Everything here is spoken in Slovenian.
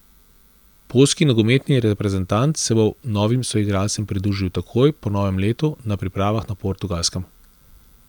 Poljski nogometni reprezentant se bo novim soigralcem pridružil takoj po novem letu na pripravah na Portugalskem.